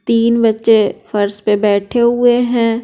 तीन बच्चे फर्श पे बैठे हुए हैं।